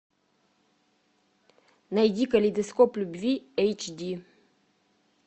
найди калейдоскоп любви эйч ди